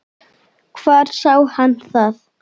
Hvar sá hann það?